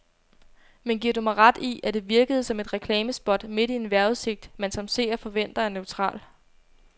Men giver du mig ret i, at det virkede som et reklamespot midt i en vejrudsigt, man som seer forventer er neutral.